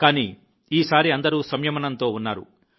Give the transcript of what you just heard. కానీ ఈసారి అందరూ సంయమనంతో ఉన్నారు